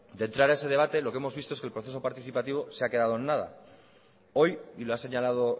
de entrar a ese debate lo que hemos visto es que el proceso participativo se ha quedado en nada hoy y lo ha señalado